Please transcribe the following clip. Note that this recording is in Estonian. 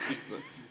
Aseesimees.